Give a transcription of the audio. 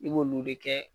I b'olu de kɛ